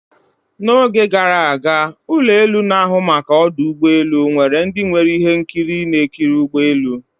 na oge gara aga, ụlọ elu na-ahụ maka ọdụ ụgbọ elu nwere ndị nwere ihe nkiri na-ekiri ụgbọ elu